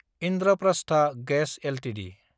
Indraprastha gas Ltd